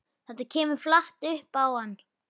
Þetta kemur flatt upp á hann.